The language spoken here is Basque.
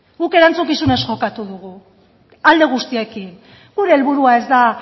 guk erantzukizunez jokatu dugu alde guztiekin gure helburua ez da